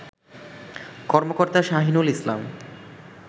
কর্মকর্তা শাহিনুল ইসলাম